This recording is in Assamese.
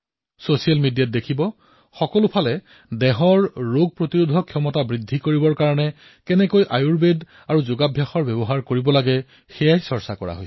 ছচিয়েল মিডিয়াতেই চাওক সকলোদিশে ৰোগ প্ৰতিৰোধক ক্ষমতা বৃদ্ধিৰ বাবে কিদৰে ভাৰতৰ আয়ুৰ্বেদ আৰু যোগৰ চৰ্চা হবলৈ ধৰিছে